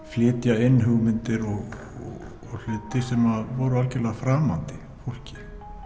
flytja inn hugmyndir og hluti sem voru algjörlega framandi fólki